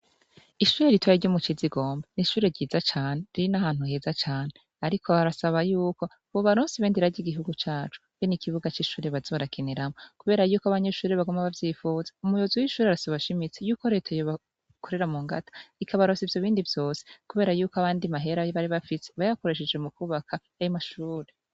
Ishure ritoya ryo mukizigomba nishure ryiza cane riri nahantu heza cane ariko barasaba yuko bobaronsa ibendera ryigihugu cacu benikibuga cishure baza barakiniramwo kubera yuko abanyeshure baguma bavyipfuza umuyobozi wishure arasaba ashimitse yuko reta yobakorera mungata ikabaronsa ivyobindi vyose kubera yuko ayandi mahera bari bafise bayakoresheje mukubaka ayo mashure